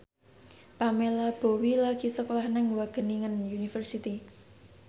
Pamela Bowie lagi sekolah nang Wageningen University